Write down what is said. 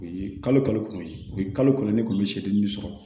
U ye kalo kalo o ye kalo kelen ne kɔni bɛ setini min sɔrɔ